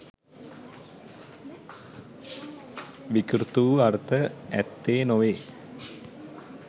විකෘති වූ අර්ථ ඇත්තේ නොවේ.